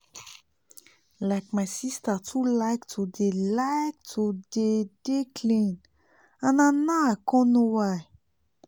like my sister too like to dey like to dey dey clean and na now i con know why